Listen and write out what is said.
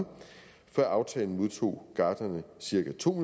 før aftalen modtog gartnerne cirka to